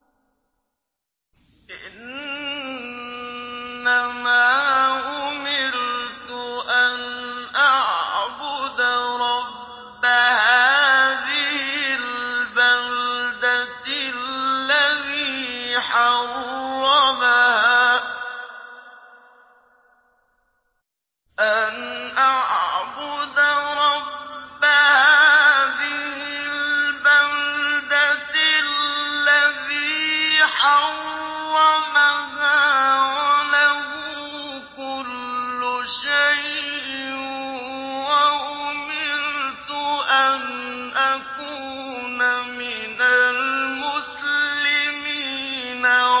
إِنَّمَا أُمِرْتُ أَنْ أَعْبُدَ رَبَّ هَٰذِهِ الْبَلْدَةِ الَّذِي حَرَّمَهَا وَلَهُ كُلُّ شَيْءٍ ۖ وَأُمِرْتُ أَنْ أَكُونَ مِنَ الْمُسْلِمِينَ